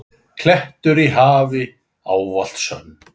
klettur í hafi, ávallt sönn.